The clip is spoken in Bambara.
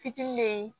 Fitinin be yen